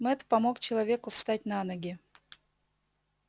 мэтт помог человеку встать на ноги